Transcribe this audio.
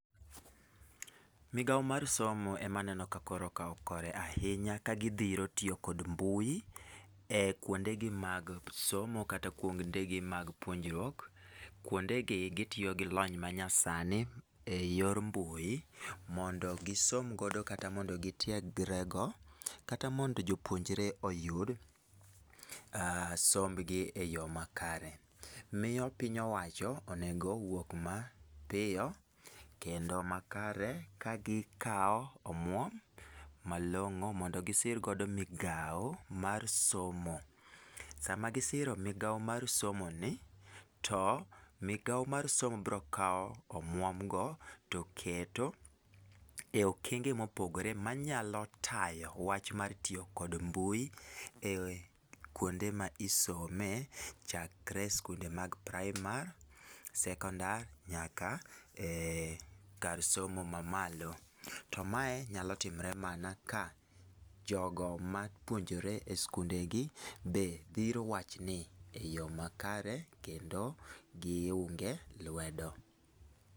Migao mar somo e ma aneno ka koro kao kore ahinya ka gidhiro tiyo kod mbui e kuonde gi mag somo kata kuonde gi mag puonjruok. Kuonde gi gitiyo gi lony manyasani e yor mbui, mondo gisom godo kata mondo gitiegre go kata mondo jopuonjre oyud sombgi e yo makare. Miyo piny owacho onego wuok mapiyo kendo makare ka gikao omuom malong'o mondo gisir godo migao mar somo. Sama gisiro migao mar somo ni, to migao mar somo biro kao omuom go to keto e okenge mopogore manyalo tayo wach mar tiyo kod mbui e kuonde ma isome chakre skunde mag praimar, sekondar, nyaka e kar somo ma malo. To mae nyalo timre mana ka jogo mapuonjore e skunde gi be dhiro wach ni e yo makare kendo giunge lwedo.